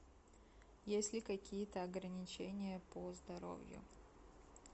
есть ли какие то ограничения по здоровью